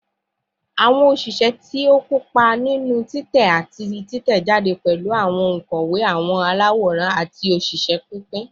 Awọn oṣiṣẹ ti o kopa ninu titẹ ati titẹjade pẹlu awọn onkọwe, awọn alaworan, ati oṣiṣẹ pinpin